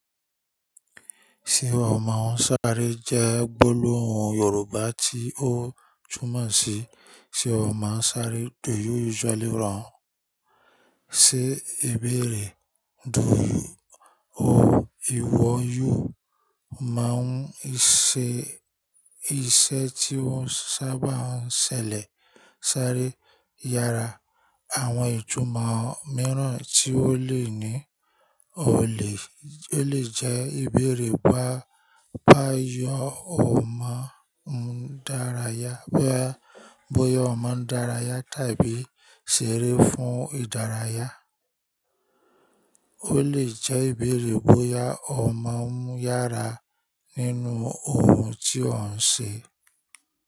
Ṣé ọ mọ ń sáré jẹ́ gbólóhùn Yorùbá tí ó túmọ̀ sí ṣé ọ mọ ń sáré. Do you usually run? Ṣé ebéèrè, do you or ìwọ yóò máa ń ṣe iṣẹ́ tí wọ́n sábà ń ṣẹlẹ̀ sáré yára. Àwọn ìtumọ̀ mìíràn tí ó lè ní, ó lè, ó lè jẹ́ ìbéèrè bóyá ọmọ ń dárayà, bóyá ọmọ ń dárayà tàbí ṣeré fún ìdárayá. Ó lè jẹ́ ìbéèrè bóyá ọ mọ ń yára nínú ohun tí ọ́n ṣe.